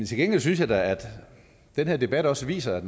til gengæld synes jeg da at den her debat også viser at